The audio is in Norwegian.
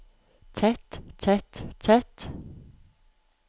tett tett tett